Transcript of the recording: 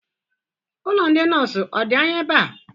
Ụlọ ndị nọọsụ ọ dị anya ebe a?